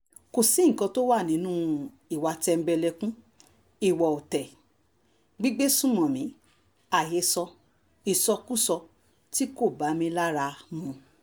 kò sí nǹkan tó wà nínú ìwà tẹ̀m̀bẹ̀lẹ̀kun ìwà ọ̀tẹ̀ um gbígbẹ̀sùnmọ̀mí àhesọ ìsọkúsọ tí kò bá mi lára um mu